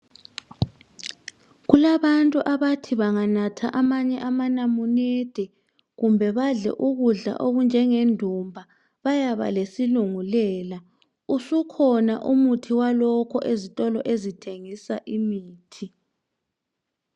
Kulabantu abantu banganatha amanamunende kumbe badle ukudla okunjengendumba bayaba lesilingulela usukhona walokho ezitolo ezithengisa imithi